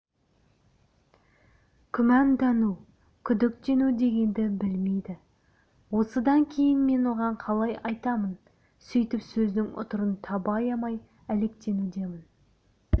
күмәндану күдіктену дегенді білмейді осыдан кейін мен оған қалай айтамын сөйтіп сөздің ұтырын таба аямай әлектенудемін